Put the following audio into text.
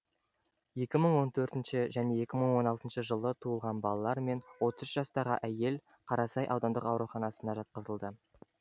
екі мың он төртінші және екі мың он алтыншы жылы туылған балалар мен отыз үш жастағы әйел қарасай аудандық ауруханасына жатқызылды